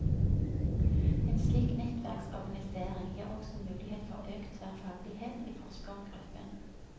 En slik nettverksorganisering gir også mulighet for økt tverrfaglighet i forskergruppen.